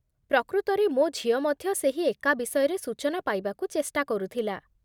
ପ୍ରକୃତରେ, ମୋ ଝିଅ ମଧ୍ୟ ସେହି ଏକା ବିଷୟରେ ସୂଚନା ପାଇବାକୁ ଚେଷ୍ଟା କରୁଥିଲା